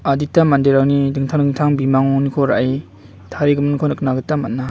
adita manderangni dingtang dingtang bimangoniko ra·e tarigiminko nikna gita man·a.